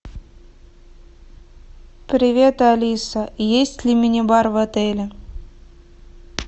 привет алиса есть ли мини бар в отеле